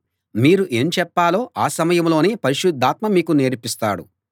మీరు ఏం చెప్పాలో ఆ సమయంలోనే పరిశుద్ధాత్మ మీకు నేర్పిస్తాడు